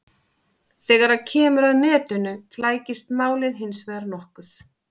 Þegar kemur að netinu flækist málið hins vegar nokkuð.